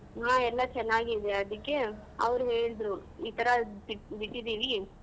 ಹ ಎಲ್ಲಾ ಚೆನ್ನಾಗಿ ಇದೆ ಅದಿಕ್ಕೆ ಅವ್ರ್ ಹೇಳ್ದ್ರು ಈತರ ಬಿ~ಬಿಟ್ಟಿದೀವಿ.